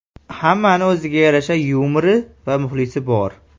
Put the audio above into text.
Hammani o‘ziga yarasha yumori va muxlisi bor.